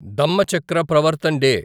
Dhammachakra Pravartan day